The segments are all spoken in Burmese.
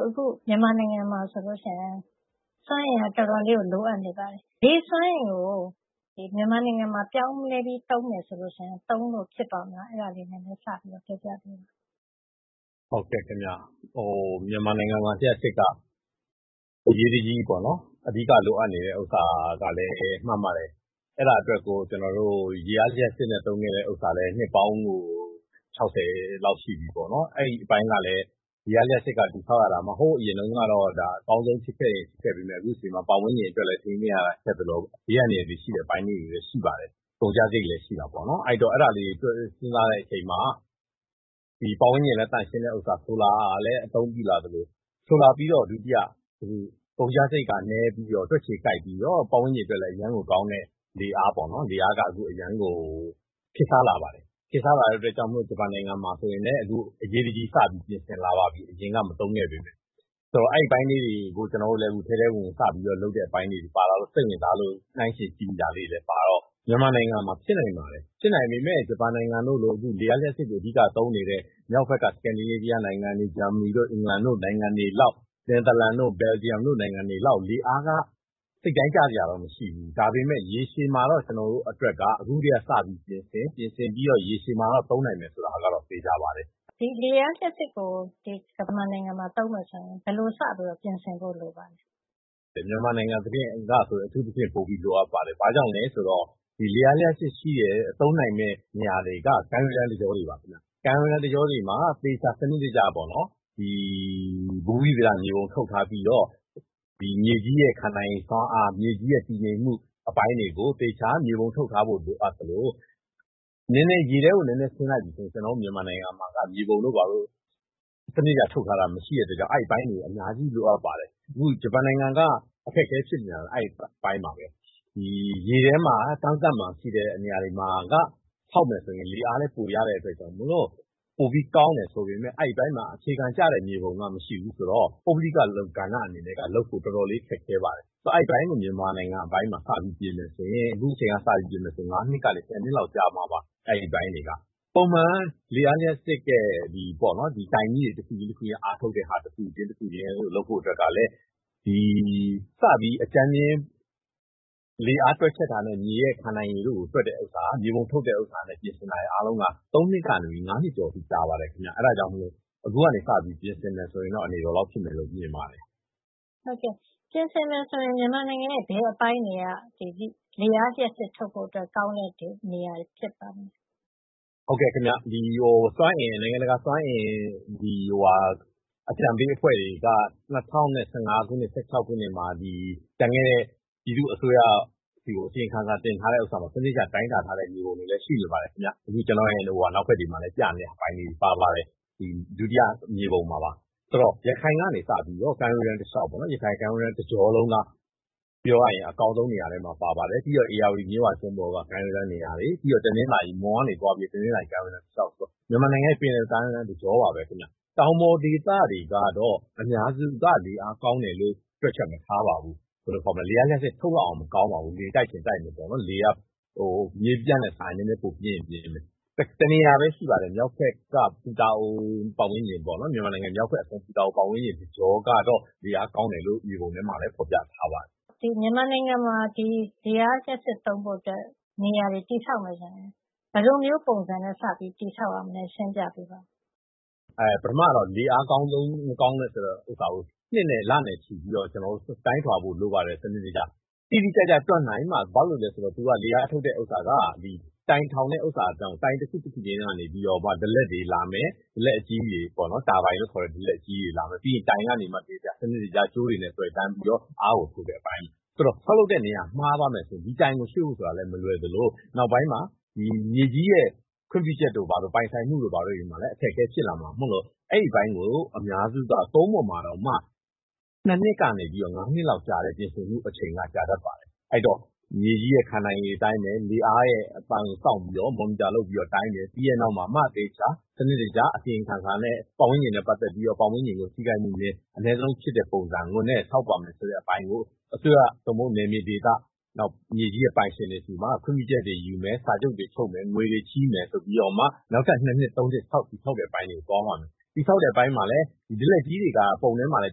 “အခု မြန်မာနိုင်ငံမှာ စွမ်းအင်က အတော်လိုအပ်နေပါတယ်။ လေစွမ်းအင်ကို မြန်မာနိုင်ငံမှာ ပြောင်းပြီး သုံးမယ်ဆိုရင် သုံးလို့ ဖြစ်ပါ့မလား ပြောပြပေးပါ။” “ဟုတ်ကဲ့ခင်ဗျ။ မြန်မာနိုင်ငံမှာ လျှပ်စစ်က အရေးတကြီးပေါ့နော်။ အဓိက လိုအပ်နေတယ် ဆိုတာ မှန်ပါတယ်။ အဲဒါအတွက်ကို ကျနော်တို့ ရေအားလ ျှပ်စစ်ကို သုံးနေတာလည်း နှစ်ပေါင်းကို ၆၀ လောက် ရှိပြီပေါ့နော်။ အဲဒီ အပိုင်းကလည်း ရေအားလ ျှပ်စစ်က တည်ဆောက်ရတာ ဟိုးအရင်တုန်းကတော့ အကောင်းဆုံး ဖြစ်ခဲ့ပေမယ့် အခုအချိန်မှာတော့ ပတ်ဝန်းကျင်အတွက်လည်း ထိန်းသိမ်းရတာ ခက်သလို ဘေးအန္တရာယ် ရှိတဲ့ အပိုင်းလေးးတွေလည်း ရှိပါတယ်။ ကုန်ကျစားရိတ်တွေလည်း ရှိတာပေါ့နော်။ အဲဒီတော့ အဲဒါလေးတွေ တွဲပြီး စဉ်းစားတဲ့ အချိန်မှာ ဒီပတ်ဝန်းကျင်လည်း သန့်ရှင်းတဲ့ ဥစ္စာ၊ ဆိုလာ ကိုလည်း အသုံးပြုလာသလို ဆိုလာပြီးတော့ ဒုတိယကုန်ကျစားရိတ်နည်းပြီး တွက်ခြေကိုက်ပြီး ပတ်ဝန်းကျင်အတွက်လည်း အရမ်းကို ကောင်းတဲ့ လေအား- လေအားပေါ့နော်၊ လေအားက အခုဆို အရမ်းကို ခေတ်စားလာပါတယ်။" "ခေတ်စားလာတဲ့ အတွက် ဂျပန်မှာဆိုရင်လည်း အခု အရေးတကြီး စပြီးတော့ ပြင်ဆင်လာပါပြီ။ အရင်က မသုံးခဲ့ပေမယ့်။ ဆိုတော့ အဲဒီအပိုင်းလေး တွေကို ကျနော်တို့လည်း ထဲထဲဝင်ဝင် စပြီး လုပ်တဲံ အပိုင်းလေးတွေပါလာလို့ စိတ်ဝင်စားလို့ နှိုင်းယှဉ်ကြည့်မိတော့ - မြန်မာနိုင်ငံမှာ ဖြစ်နိုင်ပါတယ်။ ဖြစ်နိုင်ပေမယ့် ဂျပန်နိုင်ငံတို့လို၊ လေအားလ ျှပ်စစ်ကို အဓိက သုံးနေတဲ့ မြောက်ဖက်က Scandinavia နိုင်ငံတွေ၊ ဂျာမဏီတို့၊ အင်္ဂလန်တို့လို နိုင်ငံတွေလောက်၊ နယ်သာလန်တို့ ဘယ်လ်ဂျီယံတို့လို နိုင်ငံတွေလောက် လေအားက စိတ်တိုင်းကျစရာတော့ မရှိဘူး။ ဒါပေမယ့် ရေရှည်မှာတော့ ကျနော်တို့ အတွက်က အခုကတည်းက စပြီးပြင်ဆင်၊ ပြင်ဆင်ပြီးတော့ ရေရှည်မှာတော့ သုံးနိုင်မယ် ဆိုတာကတော့ သေချာပါတယ်။” “ဒီလေအား လ ျှပ်စစ်ကို မြန်မာနိုင်ငံမှာ သုံးမယ်ဆိုရင် ဘယ်လိုစပြီးပြင်ဆင်ဖို့ လိုပါသလဲ။” “မြန်မာနိုင်ငံအတွက်က ပြင်ဆင်ဖို့ အထူးသဖြင့် လိုအပ်ပါတယ်။ ဘာကြောင့်လည်း ဆိုတော့ ဒီလေအားလ ျှပ်စစ် ရှိတဲ့ သုံးနိုင်မယ့် နေရာတွေက ကမ်းရိုးတန်း တကျောတွေပါ ခင်ဗျ။ ကမ်းရိုးတန်း တကျောတွေမှာ သေချာ စံနစ်တကျ ဘူမိဗေဒမြေပုံ ထုတ်ထားပြီးတော့ မြေကြီးရဲ့ ခံနိုင်ရည်စွမ်းအား မြေကြီးရဲ့ တည်ငြိမ်မှု အပိုင်းတွေကို သေချာ မြေပုံထုတ်ထားဖို့ လိုအပ်သလို၊ ရေထဲကို နဲနဲ ဆင်းလိုက်ပြီဆိုရင် ကျနော်တို့ မြန်မာနိုင်ငံမှာက မြေပုံတို့ဘာတို့ စံနစ်တကျ ထုတ်ထားတာ မရှိတဲ့ အတွက်ကြောင့် အဲဒီ အပိုင်းတွေက အများကြီး လိုအပ်ပါတယ်။ အခု ဂျပန်နိုင်ငံမှာ အခက်အခဲဖြစ်နေတာ လည်း အဲဒီ အပိုင်းပါပဲ။ ဒီ ရေထဲမှာ ကမ်းစပ်မှာ ရှိတဲ့ နေရာတွေမှာ ဆောက်မယ် ဆိုရင် လေအားလည်း ပိုရတဲ့ အတွက်ကြောင့် ပိုပြီး ကောင်းမယ် ဆိုပေမယ့်၊ အဲဒီအပိုင်းမှာ အခြေခံကျတဲ့ မြေပုံက မရှိဘူး ဆိုတော့ ပုဂ္ဂလိက ကဏ္ဍကနေ လုပ်ဖို့ ဆိုတာက အတော်ကို ခက်ခဲပါတယ်။ ဆိုတော့ အဲဒီ အပိုင်းကို မြန်မာနိုင်ငံမှာ စပြီ ပြင်မယ်ဆိုရင်၊ အခုအချိန်က စပြီး ပြင်မယ် ဆိုရင် နောက် ၅ နှစ်ကနေ ၁၀ နှစ်လောက် ကြာမှာပါ။ အဲဒီ အပိုင်းတွေက။ ပုံမှန်က လေအားလ ျှပ်စစ်ရဲ့ ဒီတိုင်ကြီးတွေ တခုပြီး တခုရဲ့ ဓါတ်အားထုတ်တဲ့ ဟာ တခုချင်း တခုချင်းကို လုပ်ဖို့ အတွက်ကလည်း စပြီး အကြမ်းဖျင်း လေအား တွက်ချက်တာနဲ့ ညီတဲ့ ခံနိုင်ရည် တို့ကို တွက်တဲ့ဥစ္စာ၊ မြေပုံထုတ်တာနဲ့ ပြင်ဆင်တာတွေ အားလုံးဟာ ၃ နှစ်ကနေ ၅ နှစ် ကျော် အထိလောက် ကြာပါတယ် ခင်ဗျ။ အဲဒါ အတွက်ကြောင့် အခုကနေ စပြီး ပြင်ဆင်မယ် ဆိုရင်တော့ အနေတော်လောက် ဖြစ်မယ်လို့ မြင်ပါတယ်။” “ဟုတ်ကဲ့။ ပြင်ဆင်မယ် ဆိုရင် မြန်မာနိုင်ငံရဲ့ ဘယ်အပိုင်းတွေက ဒီ လေအား လ ျှပ်စစ်ထုတ်ဖို့ အတွက် ကောင်းတဲ့ နေရာတွေ ပါလဲ။” “ဟုတ်ကဲ ခင်ဗျ။ နိုင်ငံတကာ ဒီစွမ်းအင် အကြံပေးအဖွဲ့ တွေက ဒီ ၂၀၁၅ နဲ့ ၁၆ ခုနှစ်မှာ ကျန်ခဲ့တဲ့ ပြည်သူ့အစိုးရဆီကို အစီရင်ခံစာ တင်ထားးတဲ့ဥစ္စာမှာ စံနစ်တကျ သေချာ တိုင်းတာ ထားးတဲ့ မြေပုံတွေလည်း ရှိနေပါတယ်ခင်ဗျ။ အခု ပြထားတဲ့ ဒုတိယ မြေပုံမှာလည်း ပြနေပါတယ်။ ဆိုတော့ ရခိုင်ကနေ စပြီးတော့ပေါ့နော်။ ရခိုင်ကမ်းရိုးတန်း တကျောလုံးက အကောင်းဆုံး နေရာထဲမှာ. ပါတယ်။ ပြိးတော့ ဧရာဝတီ မြစ်ဝကျွန်းပေါ်က ကမ်းရိုးတန်း နေရာတွေ။ ပြီးတော့ မွန်ကနေ သွားပြီးတော့ တနင်္သာရီ ကမ်းရိုတန်း တလေ ျှာက် ဆိုတော့ မြန်မာနိုင်ငံရဲ့ ပင်လယ်ကမ်းရိုးတန်း တကျောပါပဲ ခင်ဗျ။ တောင်ပေါ်ဒေသတွေကတော့ အများစုက လေအား ကောင်းတယ်လို့ တွက်ချက် မထားပါဘူး။ လေအားလ ျှပ်စစ် ထုတ်လောက်အောင် မကောင်းပါဘူး။ လေက မြေပြန့်ထက်စာရင်တော့ ပိုပြင်းရင် ပြင်းမယ်။ တနေရာပဲ ရှိပါတယ်။ မြောက်ဘက်က ပူတာအို ပတ်ဝန်းကျင်ပေါ့နော်။ မြန်မာနိုင်ငံမြောက်ဘက် ပူတာအို. ပတ်ဝန်းကျင် တကျောကတော့ လေအား ကောင်းတယ်လို့ မြေပုံထဲမှာလည်း ဖေါ်ပြထားပါတယ်” “ဒီ မြန်မာနိုင်ငံမှာ လေအားလ ျှပ်စစ် သုံးဖို့အတွက် နေရာတွေ တည်ဆောက်မယ် ဆိုရင် ဘယ်လိုမျိုး ပုံစံနဲ့ စပြီးတည်ဆောက်ရမလဲ ရှင်းပြပေးပါ။” “အဲ ပထမတော့ လေအားကောင်းတယ် မကောင်းဘူး ဆိုတာကို နှစ်နဲ့ လနဲ့ချီပြီးတော့ တိုင်းတာဖို့ လိုပါတယ်။ စံနစ်တကျပေ့ါ။ တိတိကျကျ တွက်နိုင်မှ ကောင်းနိုင်တယ် ဆိုတာ သူက လေအားထုတ်တာက သူက တိုင်ထောင်တဲ့ နေရာမှာ တိုင် တခု တခုချင်း ကနေပြီးတော့မှ ဒလက်တွေလာမယ်။ တာဘိုင်လို့ခေါ်တဲ့ ဒလက် အကြီးကြီးတွေ လာမယ်။ ပြီးရင် တိုင်ကနေပြီးတော့မှ စံနစ်တကျ ကြိုတွေနဲ့သွယ်တန်းပြီးတော့ အားကို ထုတ်တဲ့သဘောပါ။ အဲဒီတော့ ဆောက်လုပ်တဲ့ နေရာ မှားသွားမယ် ဆိုရင် ဒီတိုင်ကို ရွှေ့ဖို့မလွယ်သလို နောက်ပိုင်းမှာ မြေခွင့်ပြုချက်တို့၊ ပိုင်ဆိုင်မှုတို့ ဘာတို့မှာ အခက်အခဲတွေ ဖြစ်လာနိုင်တဲ့ အတွက် အဲဒီၤအပိုင်းကို အများစုက ကုန်းပေါ်မှာတောင် ၂ နှစ်ကနေ ြ့ပီးတော့ ၅ နှစ်လောက်ကြာတဲ့ ပြင်ဆင်မှုက ကြာတတ်ပါတယ်။ အဲဒီတော့ မြေကြီးရဲ့ ခံနိုင်ရည် အပိုင်းရယ်၊ လေအားရဲ့ အပိုင်းရယ်ကို စောင့်ပြီးတော့ monitor လုပ်ပြီးတော့ တိုင်းမယ်။ ပြီးတဲ့ နောက်မှာမှ သေချာ စံနစ်တကျ အစီရင်ခံစာနဲ့ ပတ်ဝန်းကျင်နဲ့ပတ်သက်ပြီး ပတ်ဝန်းကျင်ထိခိုက်မှု အနည်းဆုံး ဖြစ်တဲ့ ပုံစံနဲ့ဆောက်ပါမယ် ဆိုတဲ့ အစိုးရ သို့မဟုတ် နယ်မြေဒေသ မြေကြီးရဲ့ ပိုင်ရှင်တွေ ဆီမှာ ခွင့်ပြူချက် တွေယူမယ်။ စာချုပ်တွေ ချုပ်မယ်။ ငွေတွေ ချေးမယ်ဆိုပြီး နောက်ထပ် ၂ နှစ် ၃ နှစ် ပြီးမှ တည်ဆောက်တဲ့ အပိုင်းကို သွားပါမယ်။ တည်ဆောက်တဲ့ အပိုင်းမှာလည်း ဒလက်ကြီးတွေက ပုံထဲမှာ ပြ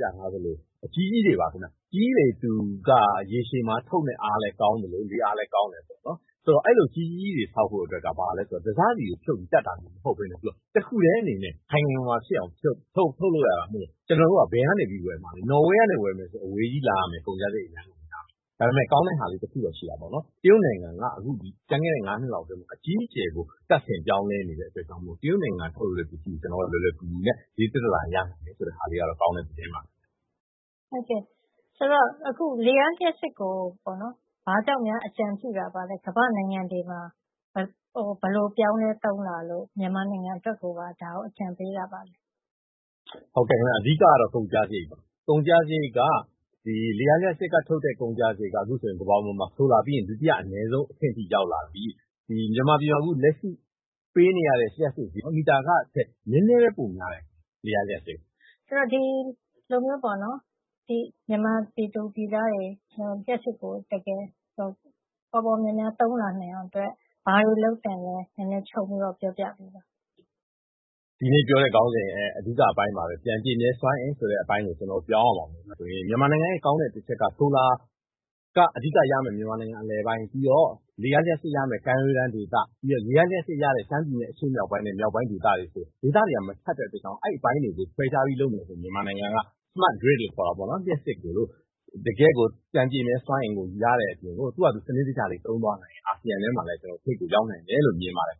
ထားသလို အကြီးကြီးတွေပါ ခင်ဗျ။ အကြီးကြီးတွေက ရေရှည်မှာ ထုတ်မယ့် အား ကောင်းသလို လေအားလည်း ကောင်းတယ် ပေါ့နော်။ ဆိုတော့ အဲဒီလို အကြီးကြီးတွေ တည်ဆောက်ဖို့ အတွက်က တစစီကို ဆက်ပြီး တပ်တာမျိုး မဟုတ်ပဲနဲ့ တခုထည်းအနေနဲ့ ခိုင်ခိုင်မာမာ ဖြစ်အောင် ထုတ်လုပ်ရတာမို့ ကျနော်တို့က ဘယ်ကနေ ဝယ်မှာလည်။ နော်ဝေကနေ ဝယ်မယ် ဆိုရင် အဝေးကြီးလာရမယ်။ ကုန်ကျစားရိတ်ကလည်းများမယ်။ ဒါပေမယ့် ကောင်းတာလေး တခုတော့ ရှိတာပေါ့နော်။ တရုတ်နိုင်ငံက ပြီးခဲ့ဲတဲ့ ၅ နှစ်လောက် အတွင်းမှာ အကြီးအကျယ်ကို တပ်ဆင် ပြောင်းလဲနေတဲ့ အတွက်ကြောင့် တရုတ်နိုင်ငံ ထုတ်ပစ္စည်းတွေကို လွယ်လွယ်ကူကူနဲ့ ဈေသက်သက်သာသာ ရနိုင်တယ် ဆိုတာက ကောင်တဲ့ သတင်းပါ။” “ဟုတ်ကဲ့။ အခု လေအားလ ျှပ်စစ်ကို ဘာကြောင့်များ အကြံပြုတာပါလဲ။ ကမ္ဘာ့နိုင်ငံတွေမှာ ဘယ်လို ပြောင်းလဲသုံးလာလို့ မြန်မာနိုင်ငံအတွက်ကိုပါ ဒါမျိုး အကြံပေးတာပါလဲ။” “ဟုတ်ကဲ့ခင်ဗျ။ အဓိကကတော့ ကုန်ကျစားရိတ်ပါ။ ကုန်ကျစားရိတ်က ဒီလေအားလ ျှပ်စစ်က ကုန်ကျစားရိတ်က အခုဆို ကမ္ဘာမှာ ဆိုလာပြီးရင် ဒုတိယ အနည်းဆုံး အဆင့်အထိ ရောက်လာနေပြီ။ နောက်ပြီး မြန်မာပြည်မှာ လက်ရှိပေးနေရတဲ့ လ ျှပ်စစ် မီတာခထက် နဲနဲပဲ ပိုများတယ်။ လေအားလ ျှပ်စစ်က။” “ဆိုတော့ ဒီလိုမျိုး မြန်မာနိုင်ငံသားတွေ လ ျှပ်စစ်ကို ပေါပေါများများ သုံးနိုင်အောင်အတွက် ဘာတွေ လုပ်သင့်လည်း နဲနဲ ခြုံပြီး ပြောပြပါ။” “ ဒီနေ့ ပြောတဲ့ ခေါင်းစဉ်ရဲ့ အဓိကအပိုင်းပါပဲ။ ပြန်ပြည့်မြဲ စွမ်းအင်ဆိုတဲ့ အပိုင်းကို ကျနော်တို့ ပြောင်းရပါမယ်။ မြန်မာနိုင်ငံရဲ့ အဓိက ကောင်းတဲ့အချက်က ဆိုလာကို အဓိကရမှာက မြန်မာနိုင်ငံ အလယ်ပိုင်း။ ပြီးတော့ လေအားလ ျှပ်စစ် ရမယ့် ကမ်းရိုးတန်းဒေသ၊ ပြီးတော့ ရေအားလ ျှပ်စစ်ရတဲ့ ရှမ်းပြည်နယ် အရှေ့မြောက်ပိုင်းနဲ့ မြောက်ပိုင်းဒေသတွေဆိုတော့။ ဒေသတွေက မထပ်တဲ့ အတွက်ကြောင့် အဲဒီ အပိုင်းတွေကို ခွဲခြားပြီးလုပ်မယ် ဆိုရင် မြန်မာနိုင်ငံက smart grid လို့ခေါ်တာ ပေါ့နော်။ လ ျှပ်စစ်ကို တကယ့်ကို ပြန်ပြည့်မြဲစွမ်းအင်ကို ရတဲ့ အပြင်ကို သူ့ဟာသူ စံနစ်တကျလေး သုံးသွားမယ် ဆိုရင် အာဆီယံထဲမှာလည်း ထိပ် ကို ရောက်နိုင်တယ်လို့ မြင်ပါတယ်